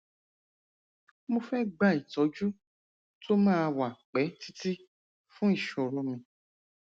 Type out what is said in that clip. mo fẹ gba ìtọjú tó máa wà pẹ títí fún ìṣòro mi